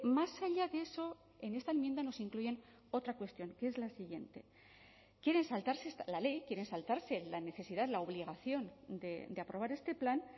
más allá de eso en esta enmienda nos incluyen otra cuestión que es la siguiente quieren saltarse la ley quieren saltarse la necesidad la obligación de aprobar este plan